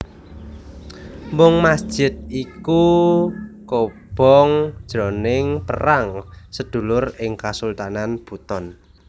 Mung masjid iku kobong jroning perang sedulur ing Kasultanan Buton